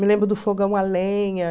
Me lembro do fogão a lenha.